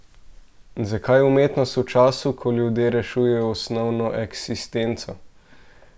Zakaj umetnost v času, ko ljudje rešujejo osnovno eksistenco?